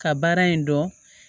Ka baara in dɔn